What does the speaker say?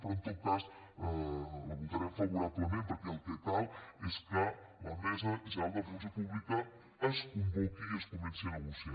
però en tot cas la votarem favorablement perquè el que cal és que la mesa general de la funció pública es convoqui i es comenci a negociar